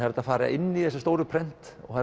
er hægt að fara inn í þessi stóru prent og